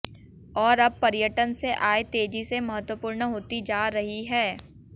और अब पर्यटन से आय तेजी से महत्वपूर्ण होती जा रही है